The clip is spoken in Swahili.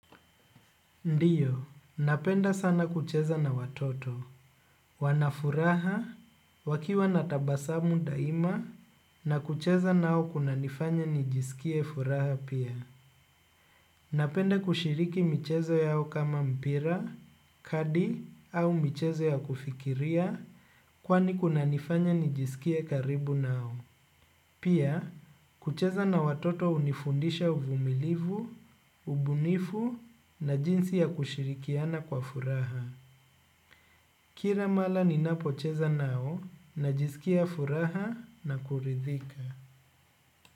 Ndiyo, napenda sana kucheza na watoto, wanafuraha wakiwa natabasamu daima na kucheza nao kuna nifanya nijisikie furaha pia. Napenda kushiriki michezo yao kama mpira, kadi au michezo yao kufikiria kwani kuna nifanya nijisikie karibu nao. Pia, kucheza na watoto unifundisha uvumilivu, ubunifu na jinsi ya kushirikiana kwa furaha. Kira mala ni napocheza nao na jizikia furaha na kuridhika.